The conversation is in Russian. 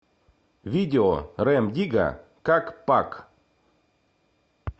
видео рем дигга как пак